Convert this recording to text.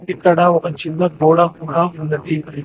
ఇక్కడ ఒక చిన్న గోడ కూడా ఉన్నది.